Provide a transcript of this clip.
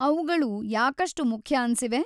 ಅವ್ಗಳು ಯಾಕಷ್ಟು ಮುಖ್ಯ ಅನ್ಸಿವೆ?